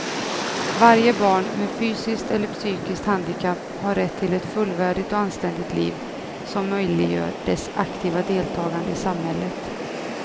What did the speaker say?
Varje barn med fysiskt eller psykiskt handikapp har rätt till ett fullvärdigt och anständigt liv som möjliggör dess aktiva deltagande i samhället.